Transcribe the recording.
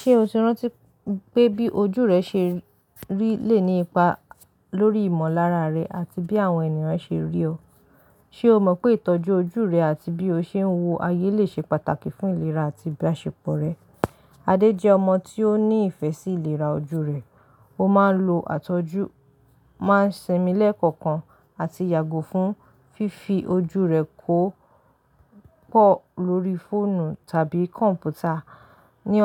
Ṣé o ti rántí pé bí ojú rẹ ṣe rí lè ní ipa lórí ìmọ̀lára rẹ àti bí àwọn ènìyàn ṣe rí ọ? Ṣe o mọ̀ pé ìtọ́jú ojú rẹ àti bí o ṣe ń wo ayé lè ṣe pàtàkì fún ìlera àti ìbáṣepọ̀ rẹ? Adé jẹ́ ọmọ tí ó ní ìfẹ́ sí ìlera ojú rẹ. Ó máa ń lo àtọ́jú, máa ń ṣinmi lẹ́kọ̀ọ̀kan àti yàgò fún fífi ojú rẹ kó pọ̀ lórí fóònù tàbí kọ̀m̀pútà. Ni